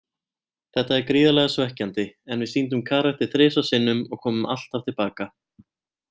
Þetta er gríðarlega svekkjandi, en við sýndum karakter þrisvar sinnum og komum alltaf til baka.